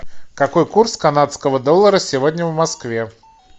какой курс канадского доллара сегодня в москве